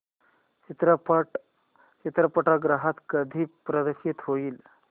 चित्रपट चित्रपटगृहात कधी प्रदर्शित होईल